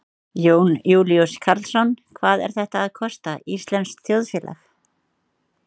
Jón Júlíus Karlsson: Hvað er þetta að kosta íslenskt þjóðfélag?